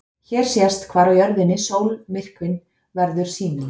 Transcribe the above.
Hér sést hvar á jörðinni sólmyrkvinn verður sýnilegur.